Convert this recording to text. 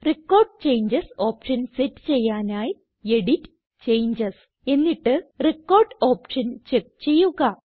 record changes option set ചെയ്യാനായി edit → changes എന്നിട്ട് record option check ചെയ്യുക